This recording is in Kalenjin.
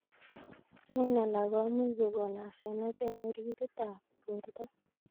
Eng alak komuch kokon asenet eng oritit ab borto.